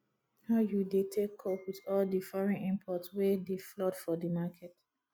how you dey take cope with all di foreign imports wey dey flood for di market